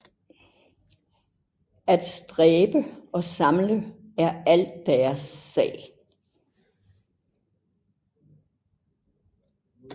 At stræbe og samle er alt deres sag